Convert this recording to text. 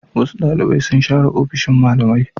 Wasu ɗalibai sun share ofishin malamai.